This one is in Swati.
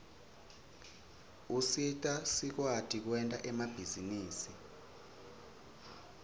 usita sikwati kwenta emabhizinisi